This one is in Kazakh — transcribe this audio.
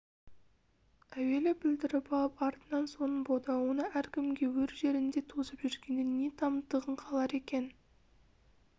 әуелі бүлдіріп алып артынан соның бодауына әркімге өр жеріңді тосып жүргенде не тамтығың қалар екен